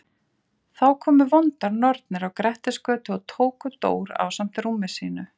Þá komu vondar nornir á Grettisgötu og tóku Dór ásamt rúmi sínu.